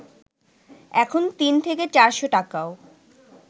এখন তিন থেকে চারশ’ টাকাও